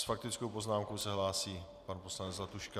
S faktickou poznámkou se hlásí pan poslanec Zlatuška.